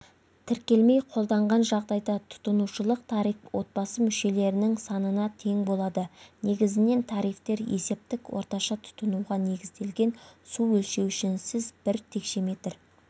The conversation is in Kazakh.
тіркелмей қолданған жағдайда тұтынушылық тариф отбасы мүшелерінің санына тең болады негізінен тарифтер есептік орташа тұтынуға негізделген су өлшеуішінсіз бір текшеметр